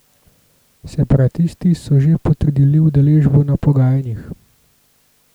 Separatisti so že potrdili udeležbo na pogajanjih.